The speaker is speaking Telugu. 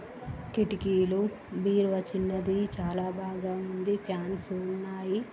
కిటికీలు బీరువా చిన్నది చాలా బాగా ఉంది ఫ్యాన్ స్ ఉన్నాయి.